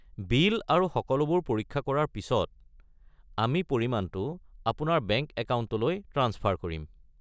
বিল আৰু সকলোবোৰ পৰীক্ষা কৰাৰ পিছত, আমি পৰিমাণটো আপোনাৰ বেংক একাউণ্টলৈ ট্ৰাঞ্চফাৰ কৰিম।